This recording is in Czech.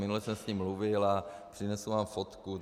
Minule jsem s ním mluvil a přinesu vám fotku.